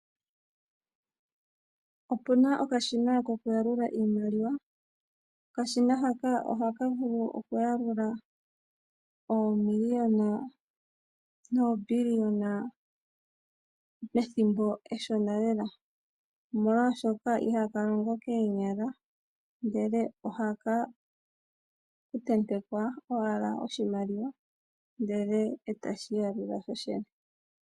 Opuna okashina koku yalula iimaliwa. Okashina hoka ohaka vulu okuyalula oomiliyona noobiliona pethimbo eshona lela, omolwashoka ihaka longo koonyala ndele ohaka tentekwa owala oshimaliwa ndele e taka yalula ko kene.